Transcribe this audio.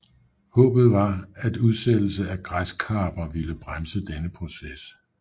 Håbet var at udsættelse af græskarper ville bremse denne proces